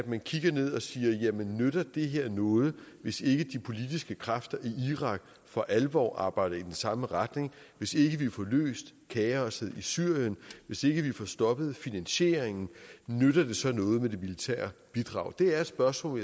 man kigger ned og siger jamen nytter det her noget hvis ikke de politiske kræfter i irak for alvor arbejder i den samme retning hvis ikke vi får løst kaosset i syrien hvis ikke vi får stoppet finansieringen nytter det så noget med det militære bidrag det er spørgsmål